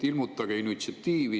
Ilmutage initsiatiivi!